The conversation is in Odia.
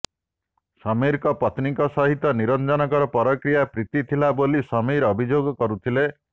ସମୀରଙ୍କ ପତ୍ନୀଙ୍କ ସହିତ ନିରଞ୍ଜନଙ୍କର ପରକୀୟା ପ୍ରୀତି ଥିଲା ବୋଲି ସମୀର ଅଭିଯୋଗ କରୁଥିଲେ